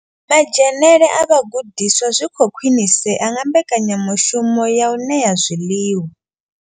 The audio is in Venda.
Madzhenele a vhagudiswa zwi khou khwinisea nga mbekanyamushumo ya u ṋea zwiḽiwa.